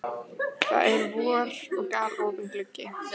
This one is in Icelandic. Það er vor og galopinn gluggi.